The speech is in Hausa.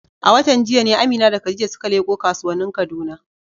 A watan jiya ne Amina da Khadija suka leƙo kasuwannin Kaduna.